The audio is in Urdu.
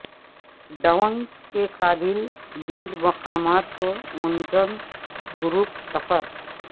ڈونگ کے قابل دید مقامات کو منظم گروپ سفر